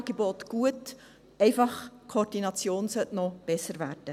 Bloss sollte die Koordination noch besser werden.